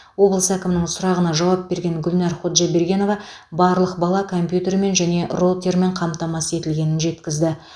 облыс әкімінің сұрағына жауап берген гүлнәр ходжабергенова барлық бала компьютермен және роутермен қамтамасыз етілгенін жеткізді